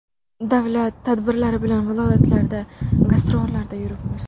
Davlat tadbirlari bilan viloyatlarda gastrollarda yuribmiz.